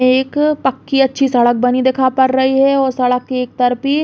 एक पक्की अच्छी सड़क बनी दिखा पड़ रई है और सड़क के एक तरफ भी --